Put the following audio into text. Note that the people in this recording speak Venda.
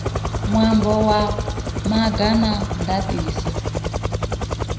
ṅwambo wa maga a ndaṱiso